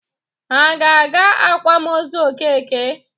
Ha ga-aga akwamozu Okeke?